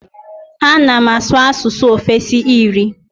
Ana m asụ asụsụ ofesi iri.